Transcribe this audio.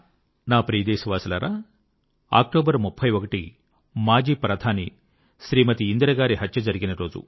నా ప్రియ దేశవాసులారా 31 అక్టోబర్ మన దేశం యొక్క మాజీ ప్రధాని శ్రీమతి ఇందిర గారి హత్య జరిగినరోజు